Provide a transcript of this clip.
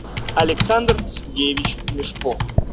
александр сергеевич мешков